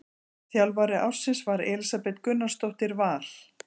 Þjálfari ársins var Elísabet Gunnarsdóttir Val.